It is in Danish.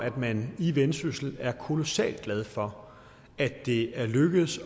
at man i vendsyssel er kolossalt glad for at det er lykkedes